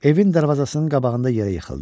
Evin darvazasının qabağında yerə yıxıldım.